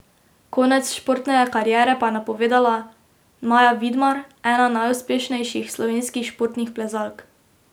Konec športne kariere pa je napovedala Maja Vidmar, ena najuspešnejših slovenskih športnih plezalk.